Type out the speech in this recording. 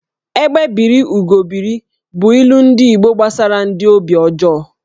"Egbé biri, Ugo biri" bụ ilu ndi Igbo gbasara ndị obi ọjọọ